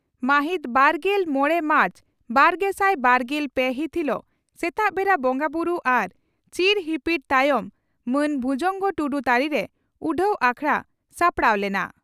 ᱢᱟᱦᱤᱛ ᱵᱟᱨᱜᱮᱞ ᱢᱚᱲᱮ ᱢᱟᱨᱪ ᱵᱟᱨᱜᱮᱥᱟᱭ ᱵᱟᱨᱜᱮᱞ ᱯᱮ ᱦᱤᱛ ᱦᱤᱞᱚᱜ ᱥᱮᱛᱟᱜ ᱵᱮᱲᱟ ᱵᱚᱸᱜᱟᱵᱩᱨᱩ ᱟᱨ ᱪᱤᱨ ᱦᱤᱯᱤᱲ ᱛᱟᱭᱚᱢ ᱢᱟᱱ ᱵᱷᱩᱡᱚᱝᱜᱚ ᱴᱩᱰᱩ ᱛᱟᱹᱨᱤᱨᱮ ᱩᱰᱷᱟᱹᱣ ᱟᱠᱷᱲᱟ ᱥᱟᱲᱟᱣ ᱞᱮᱱᱟ ᱾